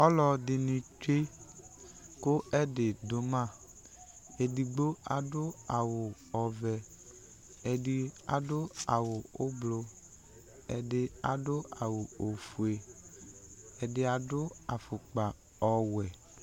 Ɔlɔdɩnɩ tsue kʋ ɛdɩ dʋ ma Edigbo adʋ awʋ ɔvɛ Ɛdɩ adʋ awʋ oblʋ Ɛdɩ adʋ awʋ ofue Ɛdɩ adʋ afʋkpa ɔwɛ